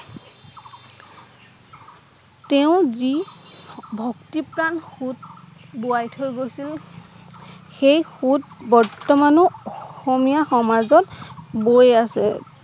তেওঁ যি ভক্তি প্ৰাণ সোঁত বোৱাই থৈ গৈছিল সেই সোঁত বৰ্তমান ও অসমীয়া সমাজত বৈ আছে